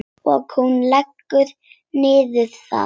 Og hún leggst niður.